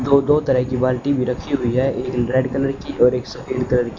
दो दो तरह की बाल्टी भी रखी हुई है एक रेड कलर की और एक सफेद कलर --